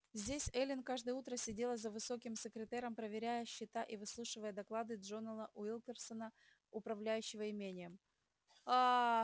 здесь эллин каждое утро сидела за высоким секретером проверяя счета и выслушивая доклады джонаса уилкерсона управляющего имением ааа